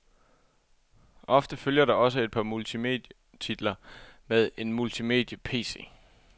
Ofte følger der også et par multimedietitler med en multimediePC.